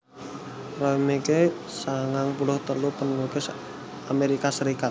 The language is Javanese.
Roy McKie sangang puluh telu panulis Amérika Sarékat